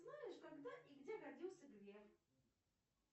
знаешь когда и где родился греф